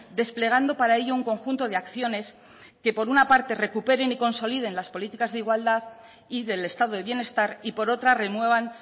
desplegando para ello un conjunto de acciones que por una parte recuperen y consoliden las políticas de igualdad y del estado de bienestar y por otra renuevan